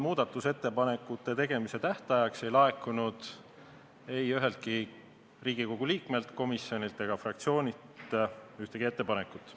Muudatusettepanekute tegemise tähtajaks ei laekunud üheltki Riigikogu liikmelt, komisjonilt ega fraktsioonilt ühtegi ettepanekut.